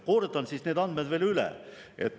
Kordan siis need andmed veel üle.